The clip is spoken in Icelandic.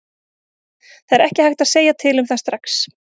Það er ekki hægt að segja til um það strax.